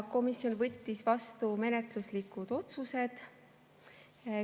Komisjon võttis vastu menetluslikud otsused.